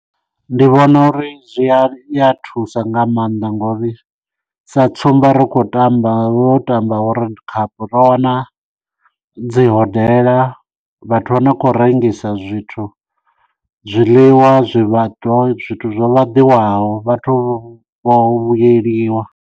Ndi vhona uri zwi iya thusa nga maanḓa ngo uri sa tsumba ri khou tamba wo tamba world cup ro wana dzi hodela vhathu vha no khou rengisa zwithu zwiḽiwa zwivhadzwa zwithu zwo vhaḓiwaho vhathu vho vhuyeliwa.